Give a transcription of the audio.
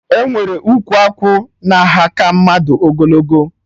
Enwere ụkwụ akwụ na aha ka mmadụ na ogologo